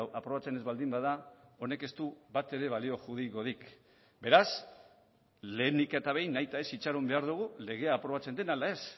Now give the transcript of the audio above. aprobatzen ez baldin bada honek ez du batere balio juridikorik beraz lehenik eta behin nahita ez itxaron behar dugu legea aprobatzen den ala ez